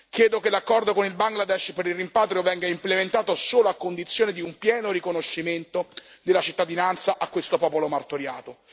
Chiedo che l'accordo con il Bangladesh per il rimpatrio venga implementato solo a condizione di un pieno riconoscimento della cittadinanza a questo popolo martoriato.